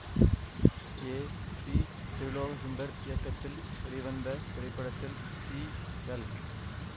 ஏ C Thirulokachandar இயக்கத்தில் வெளிவந்த இத்திரைப்படத்தில் சி எல்